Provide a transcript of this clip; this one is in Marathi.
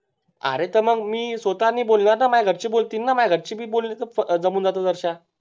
अरे तर मग मी स्वतः नाही बोलणार ना मह्या घरचे बोलतीन ना मह्या घरचे भी बोलतीन तर जमून जात ना दरश्या